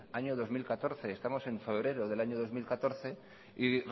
año dos mil catorce estamos en febrero del año dos mil catorce y